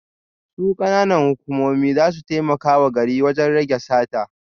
Su kananan hukumomi za su taimaka wa garin wajen rage sata